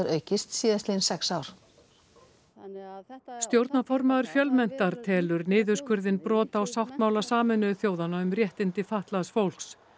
aukist síðastliðin sex ár stjórnarformaður Fjölmenntar telur niðurskurðinn brot á sáttmála Sameinuðu þjóðanna um réttindi fatlaðs fólks